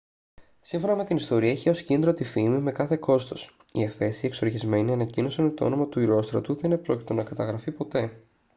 σύμφωνα με την ιστορία είχε ως κίνητρο τη φήμη με κάθε κόστος οι εφέσιοι εξοργισμένοι ανακοίνωσαν ότι το όνομα του ηρόστρατου δεν επρόκειτο να καταγραφεί ποτέ